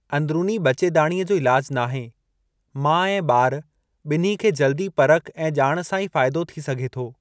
अंदिरुनी ॿचेदाणीअ जो इलाजु नाहे, माउ ऐं ॿार ॿिन्ही खे जल्दी परख ऐं ॼाण सां ई फ़ाइदो थी सघे थो।